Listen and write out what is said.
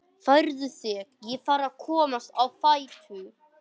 Færðu þig, ég þarf að komast á fætur.